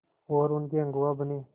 और उनके अगुआ बने